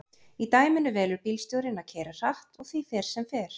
í dæminu velur bílstjórinn að keyra hratt og því fer sem fer